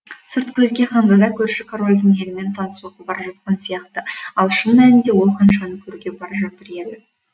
сырт көзге ханзада көрші корольдің елімен танысуға бара жатқан сияқты ал шын мәнінден ол ханшаны көруге бара жатыр еді